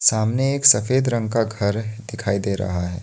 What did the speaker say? सामने एक सफेद रंग का घर दिखाई दे रहा है।